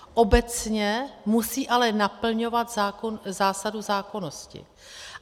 Obecně musí ale naplňovat zásadu zákonnosti.